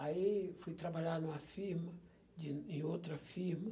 Aí fui trabalhar numa firma, de em outra firma.